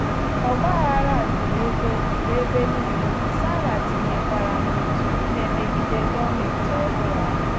Ọgba aghara juru ebe juru ebe nile, Sara tịnyekwara n’òtù na - emegide gọọmenti ọhụrụ ahụ.